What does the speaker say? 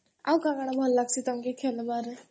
ଆଉ କଣ ଭଲ ଲାଗସି ତମକୁ ଖେଳିବାରେ?